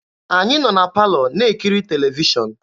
Anyị nọ na palọ na-ekiri televishọn.